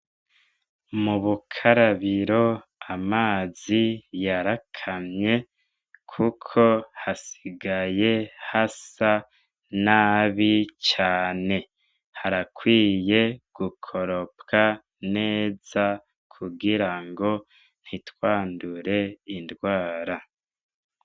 Mubukarabiro amazi yarakamye kuko hasigaye hasa nabi cane, harakwiye gukoropwa neza kugirango ntitwandure indwara.